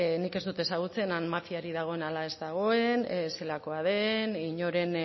nik ez dut ezagutzen han mafiarik dagoen ala ez dagoen zelakoa den inoren